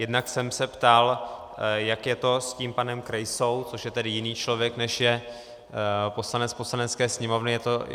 Jednak jsem se ptal, jak je to s tím panem Krejsou, což je tedy jiný člověk, než je poslanec Poslanecké sněmovny.